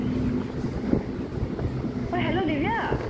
ঐ hello দিৱ্যা